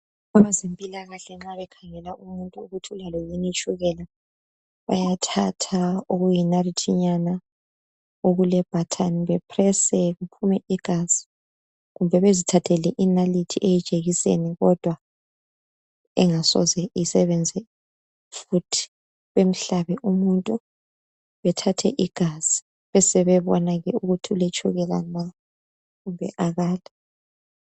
Abezempilakahle nxa bekhangela umuntu ukuthi ulalo yini itshukela bayathatha okuyinarithinyana okulebutton bepresse kuphume igazi kumbe bezithathele inalithi eyijekiseni kodwa engasoze isebenze futhi bahlabe umuntu bathathe igazi, besebebona ukuthi uletshukela kumbe akala.